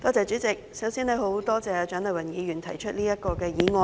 主席，首先多謝蔣麗芸議員提出這項議案。